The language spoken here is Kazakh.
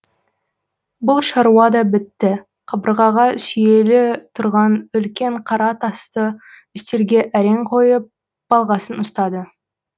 бұл шаруа да бітті қабырғаға сүйеулі тұрған үлкен қара тасты үстелге әрең қойып балғасын ұстады